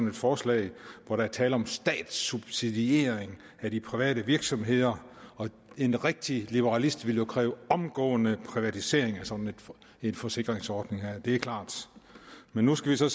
et forslag hvor der er tale om statssubsidiering af de private virksomheder og en rigtig liberalist ville jo kræve en omgående privatisering af sådan en forsikringsordning det er klart nu skal vi så